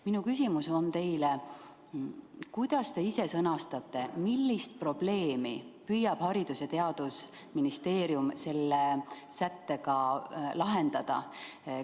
Minu küsimus on: kuidas te ise sõnastate, millist probleemi püüab Haridus- ja Teadusministeerium selle sättega lahendada?